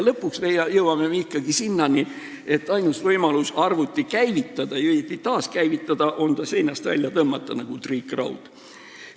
Lõpuks jõuame me ikkagi sinnani, et ainus võimalus arvuti käivitada, õieti taaskäivitada, on ta seinast välja tõmmata nagu triikraud.